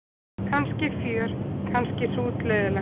Kannski fjör kannski hrútleiðinlegt.